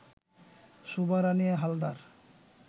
Shobha Rani Haldar